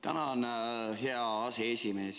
Tänan, hea aseesimees!